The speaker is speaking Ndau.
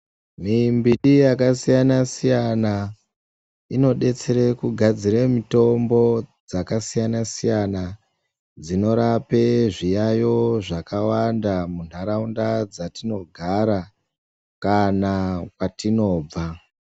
Mimbiti yakasiyana siyana inodetsera kugadzira mitombo dzakasiyana siyana dzinorapa zviyaiyo zvakawanda mundaraunda matinogara kana kwatinobva.